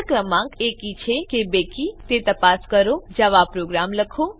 આપેલ ક્રમાંક એકી છે કે બેકી છે તે તપાસ કરતો જાવા પ્રોગ્રામ લખો